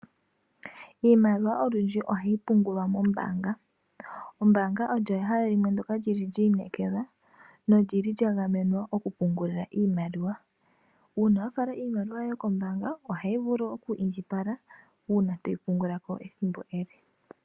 Iimaliwa olundji ohayi pungulwa mombaanga .Ombaanga olyo ehala limwe ndoka lili lyi inekelwa nolyili lya gamenwa okupungulila iimaliwa ,uuna wa fala iimaliwa yoye kombaanga ohayi vulu okuundjipala uuna toyi pungula ko ethimbo ele.